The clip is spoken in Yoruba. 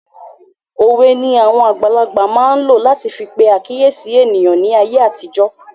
Òwe ni àwon àgbàlagbà máa n lo lati fi pe àkíyèsí eniyan ní ayé àtijó